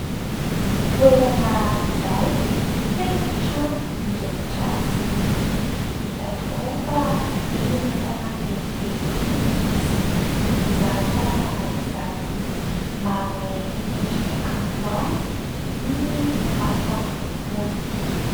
Toerana iray feno trano mirehitra jiro. Hita tokoa fa eny an-tanàn-dehibe eny no misy izany tanàna izany. Manome endrika kanto azy ny masoandro mody.